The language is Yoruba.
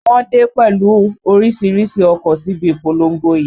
Wọ́n dé pẹ̀lú orísìírísìí ọkọ̀ síbi ìpolongo yìí